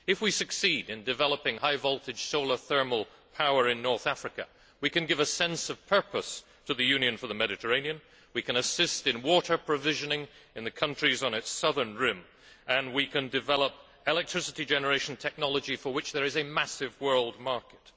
If we succeed in developing high voltage solar thermal power in North Africa, we can give a sense of purpose to the Union for the Mediterranean, we can assist in water provisioning in the countries on the southern Mediterranean rim and we can develop electricity generation technology, for which there is a massive world market.